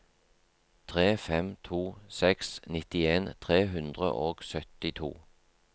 tre fem to seks nittien tre hundre og syttito